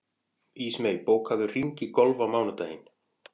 Ísmey, bókaðu hring í golf á mánudaginn.